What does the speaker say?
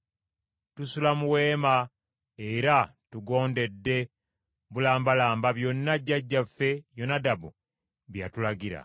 Tusula mu weema era tugondedde bulambalamba byonna jjajjaffe Yonadabu bye yatulagira.